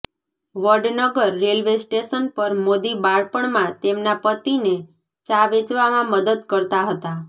Vadnagar railway station પર મોદી બાળપણમાં તેમના પતિને ચા વેચવામાં મદદ કરતા હતા